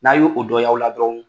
N'a y'o dɔ ye aw la dɔrɔnw